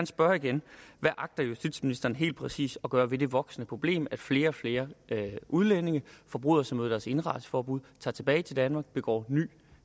spørge igen hvad agter justitsministeren helt præcis at gøre ved det voksende problem at flere og flere udlændinge forbryder sig mod deres indrejseforbud tager tilbage til danmark begår ny